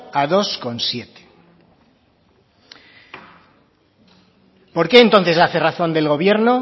a dos coma siete por qué entonces hace razón del gobierno